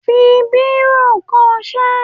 fi bírò kọ ṣé!